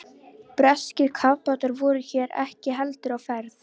Breskir kafbátar voru hér ekki heldur á ferð.